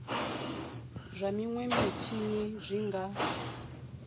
zwa minwe mitshini zwi nga